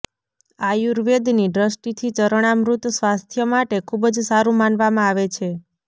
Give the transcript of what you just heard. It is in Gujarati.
આયુર્વેદની દ્રષ્ટિથી ચરણામૃત સ્વાસ્થ્ય માટે ખૂબ જ સારુ માનવામાં આવે છે